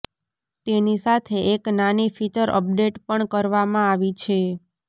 તેની સાથે એક નાની ફીચર અપડેટ પણ કરવામાં આવી છે